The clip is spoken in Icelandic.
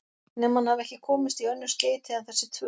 Nema hann hafi ekki komist í önnur skeyti en þessi tvö